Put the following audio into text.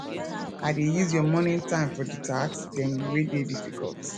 i dey use your morning time for di tasks dem wey dey difficult